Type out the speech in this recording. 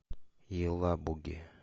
елабуге